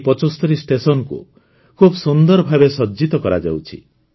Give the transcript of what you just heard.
ଏହି ୭୫ ଷ୍ଟେସନକୁ ଖୁବ ସୁନ୍ଦର ଭାବେ ସଜ୍ଜିତ କରାଯାଉଛି